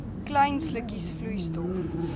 klein slukkies vloeistof